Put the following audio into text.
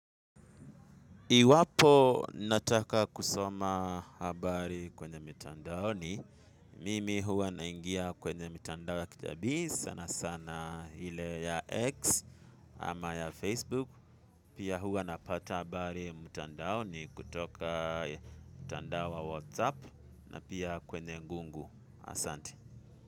Iwapo nataka kusoma habari kwenye mitandaoni mimi huwa naingia kwenye mtandao ya kijamii sana sana ile ya X ama ya Facebook pia huwa napata habari mtandaoni kutoka mtandao wa WhatsApp na pia kwenye ngungu asante.